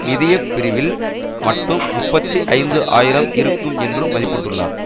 நிதிய பிரிவில் மட்டும் முப்பத்தி ஐந்து ஆயிரம் இருக்கும் என்றும் மதிப்பிட்டுள்ளார்